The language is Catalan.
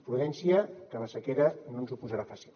prudència que la sequera no ens ho posarà fàcil